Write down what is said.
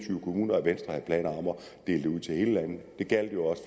dele det ud til hele landet det gjaldt jo også